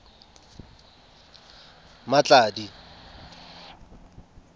mmatladi